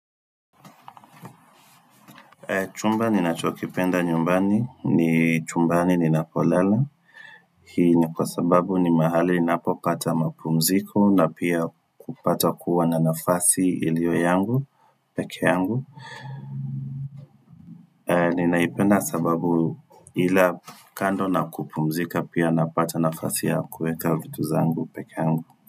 Chumba ninachokipenda nyumbani, ni chumbani ninapolala Hii ni kwa sababu ni mahali ninapopata mapumziko na pia kupata kuwa na nafasi iliyo yangu, peke yangu Ninaipenda sababu ila kando na kupumzika pia napata nafasi ya kuweka vitu zangu pekee yangu.